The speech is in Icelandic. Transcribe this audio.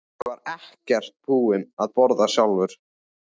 Ég var ekkert búinn að borða sjálfur.